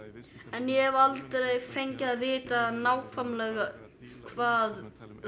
en ég hef aldrei fengið að vita nákvæmlega hvað